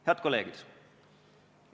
Head kolleegid!